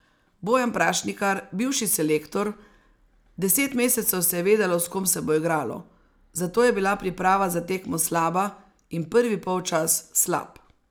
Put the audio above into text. Bojan Prašnikar, bivši selektor: 'Deset mesecev se je vedelo, s kom se bo igralo, zato je bila priprava za tekmo slaba in prvi polčas slab.